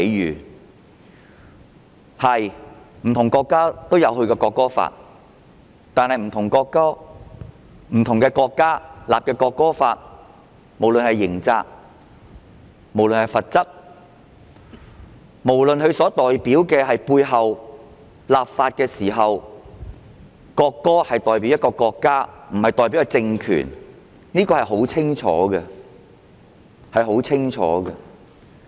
沒錯，不同國家也有制定國歌法，但不同國家制定的國歌法，不論是刑責和罰則，不論是立法背後的意義，即國歌代表的是一個國家而不是政權，全部都載述得清清楚楚。